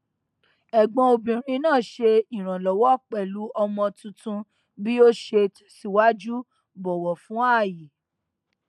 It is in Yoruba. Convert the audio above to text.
ẹgbọn obìnrin náà ṣe ìrànlọwọ pẹlú ọmọ tuntun bí ó ṣe tẹsìwájú bọwọ fún ààyè